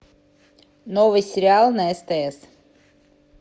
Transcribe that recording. новый сериал на стс